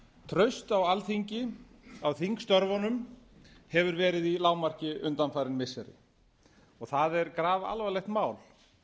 traust á alþingi á þingstörfunum hefur verið í lágmarki undanfarin missiri það er grafalvarlegt mál